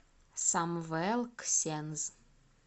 самвел ксенз